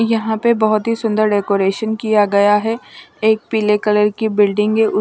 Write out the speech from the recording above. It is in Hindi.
यहाँ पे बहुत ही सुंदर डेकोरेशन किया गया है एक पीले कलर की बिल्डिंग है।